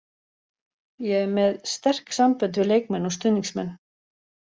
Ég er með sterk sambönd við leikmenn og stuðningsmenn.